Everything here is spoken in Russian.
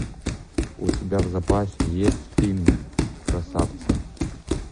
у тебя в запасе есть фильм красавцы